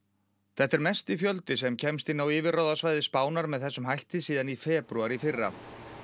þetta er mesti fjöldi sem kemst inn á yfirráðasvæði Spánar með þessum hætti síðan í febrúar í fyrra